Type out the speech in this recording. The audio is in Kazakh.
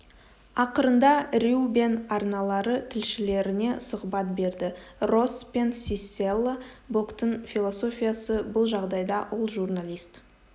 ақырында рью бен арналары тілшілеріне сұхбат берді росс пен сиссела боктың философиясы бұл жағдайда ол журналист